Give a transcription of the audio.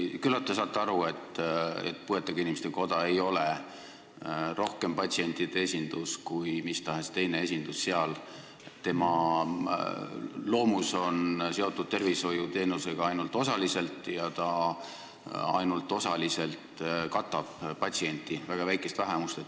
Küllap te saate aru, et puuetega inimeste koda ei ole seal rohkem patsientide esindus kui mis tahes teine organisatsioon, tema loomus on seotud tervishoiuteenusega ainult osaliselt ja ta katab patsientide väga väikest vähemust.